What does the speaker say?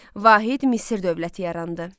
Vahid Misir dövləti yarandı.